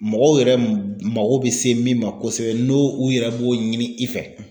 Mɔgɔw yɛrɛ mago bɛ se min ma kosɛbɛ n'o u yɛrɛ b'o ɲini i fɛ;